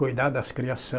Cuidar das criaçã.